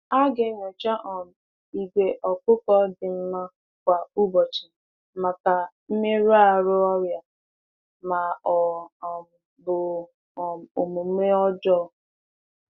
A ghaghị na-enyocha ìgwè anụ ọkụkọ kwa anụ ọkụkọ kwa ụbọchị maka mmerụ, ọrịa, maọbụ omume dị iche.